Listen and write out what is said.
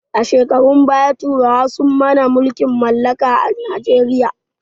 A shekarun baya turawa sun mana mulkin mallaka a najeriya